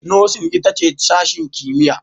Nursing ita ce sashen kimiyya